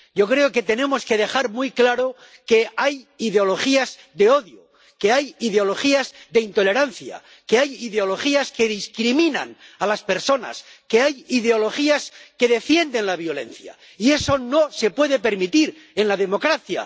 Yo creo que tenemos que dejar muy claro que hay ideologías de odio, que hay ideologías de intolerancia, que hay ideologías que discriminan a las personas, que hay ideologías que defienden la violencia, y eso no se puede permitir en una democracia.